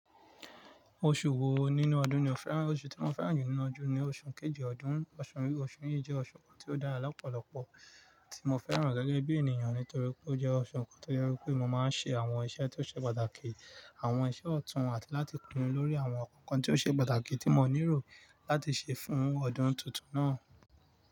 Oṣù wo nínú ọdún ni o fẹ́ràn ju? Oṣù tí mo fẹ́ràn jù nínu ọdún ni oṣù kejì ọdún. Oṣù yìí jẹ́ oṣù kan tí ó dára lọ́pọ̀lọpọ̀ tí mo fẹ́ràn gẹ́gẹ́ bí ènìyàn nítorí pé ó jẹ́ oṣù kan tó jẹ wípé mo máa ń ṣe àwọn iṣẹ́ tí ó ṣe pàtàkì, àwọn iṣẹ́ ọ̀tún àti láti pinu lórí àwọn nǹkan kan tí ó ṣe pàtàkì tí mo nílò láti ṣe fún ọdún tuntun náà.